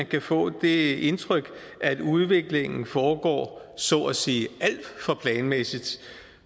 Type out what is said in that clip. kan få det indtryk at udviklingen foregår så at sige alt for planmæssigt